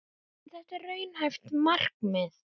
En er þetta raunhæft markmið?